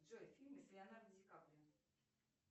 джой фильмы с леонардо ди каприо